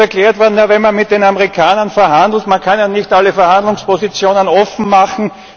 Mir ist erklärt worden, wenn man mit den Amerikanern verhandelt, kann man ja nicht alle Verhandlungspositionen offenmachen.